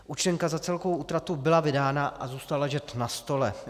Účtenka za celkovou útratu byla vydána a zůstala ležet na stole.